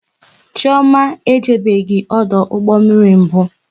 Chioma ejebeghi ọdụ ụgbọ mmiri mbụ